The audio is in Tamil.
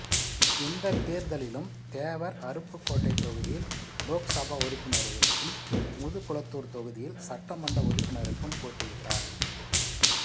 இந்தத் தேர்தலிலும் தேவர் அருப்புகோட்டை தொகுதியில் லோக்சபா உறுப்பினருக்கும் முதுகுளத்தூர் தொகுதியில் சட்டமன்ற உறுப்பினருக்கும் போட்டியிட்டார்